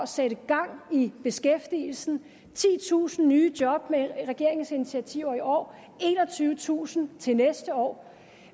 sætte gang i beskæftigelsen titusind nye job med regeringens initiativer i år og enogtyvetusind til næste år